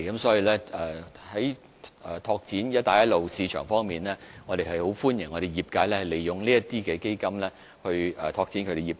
所以，在拓展"一帶一路"市場方面，我們相當歡迎業界利用有關基金來拓展業務。